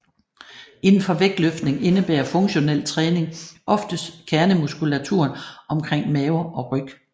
Inden for vægtløftning indebærer funktionel træning oftest kernemuskulaturen omkring mave og ryg